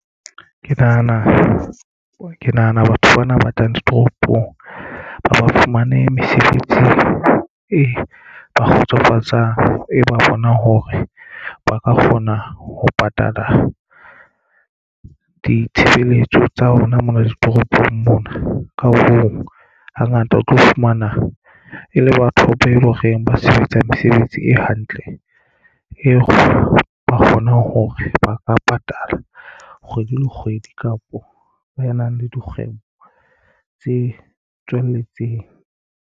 Ke nahana batho bana ba tlang ditoropong ha ba fumane mesebetsi e ba kgotsofatsang e ba bonang hore ba ka kgona ho patala ditshebeletso tsa rona mona ditoropong mona ka hoo hangata o tlo fumana e le batho be loreng ba sebetsa mesebetsi e hantle eo ba kgonang hore ba ka patala kgwedi le kgwedi kapo ba enang le dikgwebo tse tswelletseng.